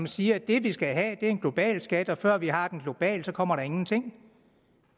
siger at det vi skal have er en global skat og før vi har den globalt kommer der ingenting